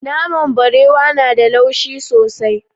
Naman barewa na da laushi sosai.